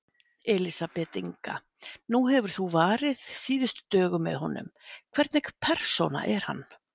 Elísabet Inga: Nú hefur þú varið síðustu dögum með honum, hvernig persóna er hann?